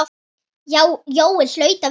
Jói hlaut að vera þar.